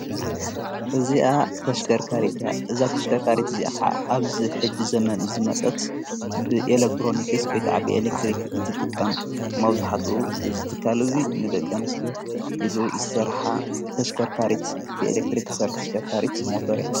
እዚኣ ርካ እዛ ተሽከርካሪት እዚዓ ኣብዝ ሕጅ ዘመን ዝመጸት ብኤለክትሮንክስ ወይ ከዓ ብኤለክትሪክ እትጥቀም መብዙኃቱ ዝተካል እዙይ ንደቐንስት ኢሉ ዝሠርኃ ተሽከርካሪት ብኤለክትሪክ ሠርሕ ተሽከርካሪት ሞተር እያ።